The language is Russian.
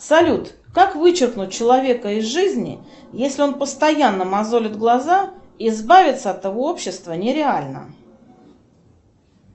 салют как вычеркнуть человека из жизни если он постоянно мозолит глаза и избавиться от его общества не реально